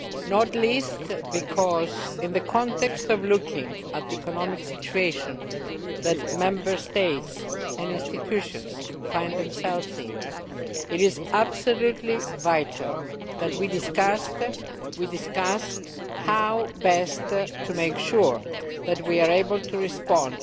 Not least because, in the context of looking at the economic situation that Member States and institutions find themselves in, it is absolutely vital that we discuss how best to make sure that we are able to respond